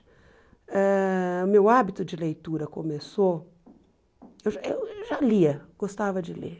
Ãh o meu hábito de leitura começou, eu já eu já lia, gostava de ler.